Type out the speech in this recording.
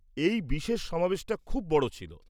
এই বিশেষ সমাবেশটা খুব বড় ছিল।